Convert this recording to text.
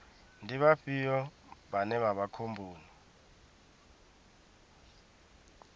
ndi vhafhio vhane vha vha khomboni